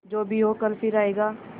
जो भी हो कल फिर आएगा